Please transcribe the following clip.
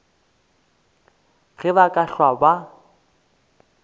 ge ba ka hlwa ba